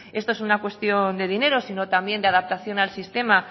esto es una cuestión de dinero sino también de adaptación al sistema